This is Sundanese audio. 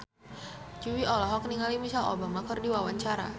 Jui olohok ningali Michelle Obama keur diwawancara